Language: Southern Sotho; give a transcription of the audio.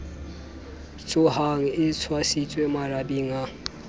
tshohang e tshwasitswe marabeng a